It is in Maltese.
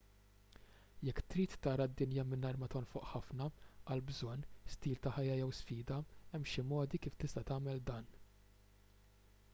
jekk trid tara d-dinja mingħajr ma tonfoq ħafna għal bżonn stil ta' ħajja jew sfida hemm xi modi kif tista' tagħmel dan